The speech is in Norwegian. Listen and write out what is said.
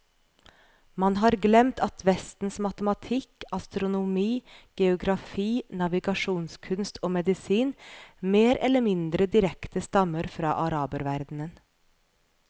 Man har glemt at vestens matematikk, astronomi, geografi, navigasjonskunst og medisin mer eller mindre direkte stammer fra araberverdenen.